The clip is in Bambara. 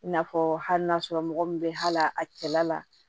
I n'a fɔ hali n'a sɔrɔ mɔgɔ min bɛ hal'a cɛla la